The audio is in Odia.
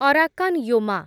Arakan Yoma